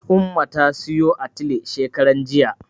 Umma ta siyo atile shekaranjiya.